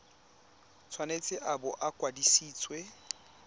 tshwanetse a bo a kwadisitswe